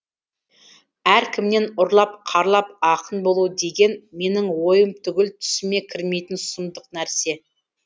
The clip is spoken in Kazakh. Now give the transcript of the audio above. әркімнен ұрлап қарлап ақын болу деген менің ойым түгіл түсіме кірмейтін сұмдық нәрсе